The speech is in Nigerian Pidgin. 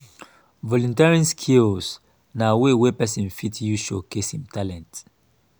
volunteering skills na way wey person fit use showcase im talent